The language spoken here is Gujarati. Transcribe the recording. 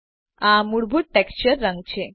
આ મૂળભૂત ટેક્સચર રંગ છે